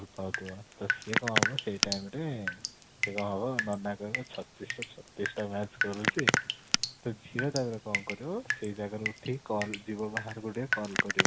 ପାଉ ଥିବ ତ ସିଏ କ'ଣ ହବ ସେଇ time ରେ ସେ କ'ଣ ହବ ନା ନନା କହିବେ ଛତିଶ ରୁ ଛତିଶ ଟା match କରୁଛି ତ ଝିଅ ଟା ସେତେ ବେଳେ କଣ କରିବ ସେଇ ଜାଗା ରୁ ଉଠିକି call ଯିବ ବାହାରକୁ ଟିକେ call କରିବ